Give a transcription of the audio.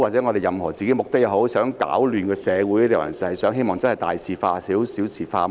究竟我們是想攪亂社會，還是希望大事化小、小事化無？